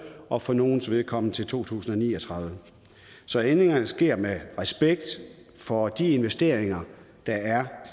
og for nogles vedkommende til to tusind og ni og tredive så ændringerne sker med respekt for de investeringer der er